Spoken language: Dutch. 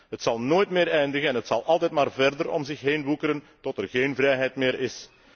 Het zal nooit meer eindigen en het zal altijd maar verder om zich heen woekeren, tot er geen vrijheid meer is.